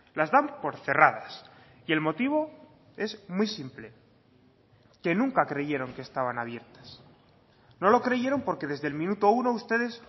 las dan por cerradas y el motivo es muy simple que nunca creyeron que estaban abiertas no lo creyeron porque desde el minuto uno ustedes